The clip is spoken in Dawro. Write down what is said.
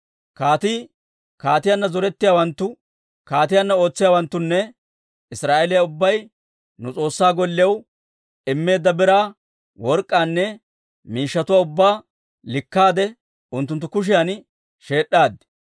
Kaatii, kaatiyaanna zorettiyaawanttu, kaatiyaanna ootsiyaawanttunne Israa'eeliyaa ubbay nu S'oossaa Golliyaw immeedda biraa work'k'aanne, miishshatuwaa ubbaa likkaade unttunttu kushiyan sheed'd'aaddi.